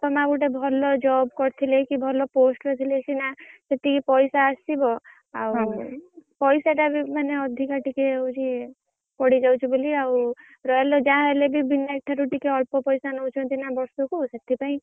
ବାପା ମାଆ ଗୋଟେ ଭଲ job କରିଥିଲେ କି ଭଲ post ରେ ଥିଲେ ସିନା ସେତିକି ପଇସା ଆସିବ। ଆଉ ପଇସା ଟା ବି ମାନେ ଅଧିକା ଟିକେ ହଉଛି ପଡିଯାଉଛି ବୋଲି ଆଉ। royal ରେ ଯାହା ହେଲେ ବି ବିନାୟକ୍ ଠାରୁ ଟିକେ ଅଳ୍ପ ପଇସା ନଉଛନ୍ତି ନା ବର୍ଷୁକୁ ସେଥିପାଇଁ,